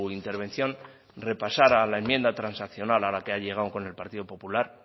intervención repasara la enmienda transaccional a la que ha llegado con el partido popular